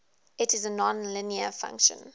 it is a nonlinear function